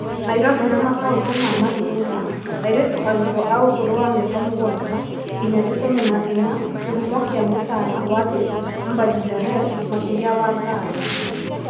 Nairobi na makaũtĩ ma matũũra ; airĩtu arutwo a ũkũrũ wa mĩaka mũgwanja nginya ikũmi na ĩna, kĩhumo kĩa mũcara wa thĩ Mbangirandesh makĩria wa thayũ.